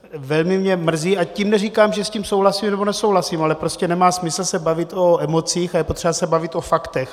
Velmi mě mrzí - a tím neříkám, že s tím souhlasím nebo nesouhlasím, ale prostě nemá smysl se bavit o emocích a je potřeba se bavit o faktech.